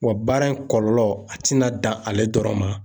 Wa baara in kɔlɔlɔ a tɛna dan ale dɔrɔn ma.